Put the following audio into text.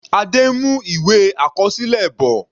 Adé ń mú ìwé àkọsílẹ bọ̀.